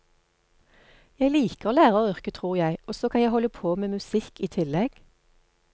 Jeg liker læreryrket, tror jeg, og så kan jeg holde på med musikk i tillegg.